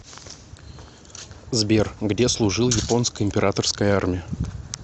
сбер где служил японская императорская армия